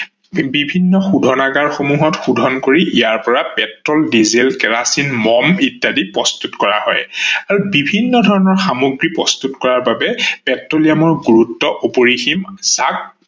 বিভিন্ন শুধনাগাৰ সমূহ শুধন কৰি ইয়াৰ পৰা পেট্ৰল, ডিজেল, কেৰাচিন, মম ইত্যাদি প্ৰস্তুত কৰা হয়। আৰু বিভিন্ন ধৰনৰ সামগ্ৰী প্ৰস্তুত কৰাৰ বাবে পেট্ৰলিয়ামৰ গুৰুত্ব অপৰিসীম। তাক